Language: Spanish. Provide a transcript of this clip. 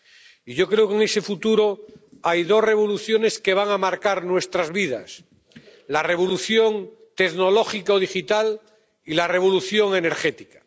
Y yo creo que en ese futuro hay dos revoluciones que van a marcar nuestras vidas la revolución tecnológica o digital y la revolución energética.